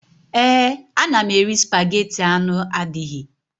Ee, ana m eri spageti anụ adịghị